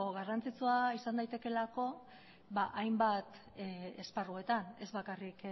garrantzitsua izan daitekeelako hainbat esparruetan ez bakarrik